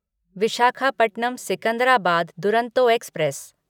Visakhapatnam Secunderabad Duronto express